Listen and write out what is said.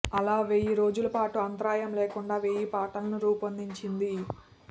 అలా వెయ్యి రోజుల పాటు అంతరాయం లేకుండా వెయ్యి పాటలను రూపొందించింది